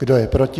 Kdo je proti?